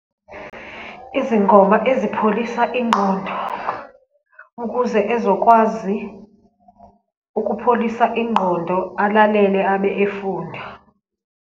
Izingoma ezipholisa ingqondo ukuze ezokwazi ukupholisa ingqondo, alalele abe efunda.